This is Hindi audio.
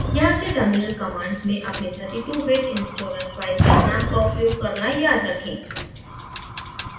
यहाँ से terminal commands में अपनी 32 bit installer फ़ाइल के नाम का उपयोग करना याद रखें